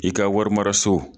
I ka warimara so.